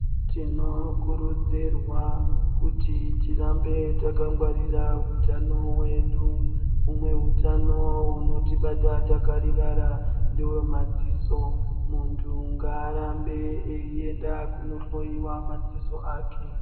Tinokurudzirwa kuti tirambe takagwarira utano hwedu. Umwe hutano hunotibata takarivara ndewemadziso. Muntu ngaarambe eienda kunohloiwa madziso ake.